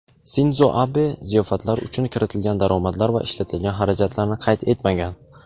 Sindzo Abe ziyofatlar uchun kiritilgan daromadlar va ishlatilgan xarajatlarni qayd etmagan.